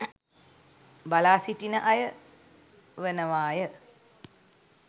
බලා සිටින අය වනවාය.